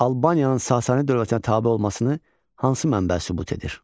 Albaniyanın Sasani dövlətinə tabe olmasını hansı mənbə sübut edir?